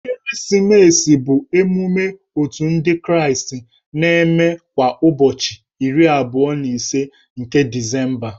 Ekeresimesi bụ emume Otù ndị kraịstị na-eme kwa ụbọchị iri abụọ na ise nke Disemba.